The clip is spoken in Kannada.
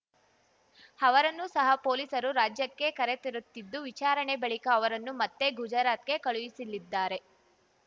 ಅವರನ್ನು ಸಹ ಪೊಲೀಸರು ರಾಜ್ಯಕ್ಕೆ ಕರೆತರುತ್ತಿದ್ದು ವಿಚಾರಣೆ ಬಳಿಕ ಅವರನ್ನು ಮತ್ತೆ ಗುಜರಾತ್‌ಗೆ ಕಳುಹಿಸಿಲಿದ್ದಾರೆ